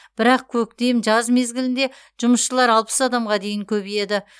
бірақ көктем жаз мезгілінде жұмысшылар алпыс адамға дейін көбейеді